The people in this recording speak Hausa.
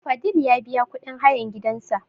Fadil ya biya kuɗin hayan gidan sa